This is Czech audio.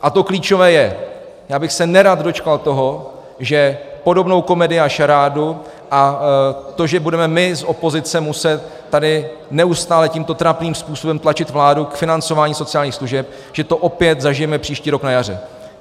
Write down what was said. A to klíčové je: Já bych se nerad dočkal toho, že podobnou komedii a šarádu a to, že budeme my z opozice muset tady neustále tímto trapným způsobem tlačit vládu k financování sociálních služeb, že to opět zažijeme příští rok na jaře.